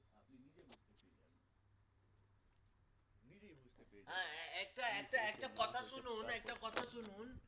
হ্যাঁ হ্যাঁ একটা একটা একটা কথা শুনুন একটা কথা শুনুন